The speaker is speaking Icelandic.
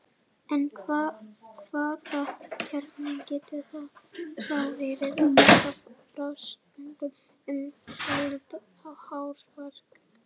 en hvaða kjarni getur þá verið að baki frásögnum um harald hárfagra